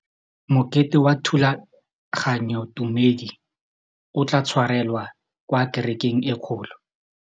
Mokete wa thulaganyôtumêdi o tla tshwarelwa kwa kerekeng e kgolo.